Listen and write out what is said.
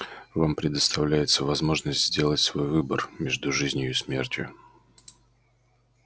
вам предоставляется возможность сделать свой выбор между жизнью и смертью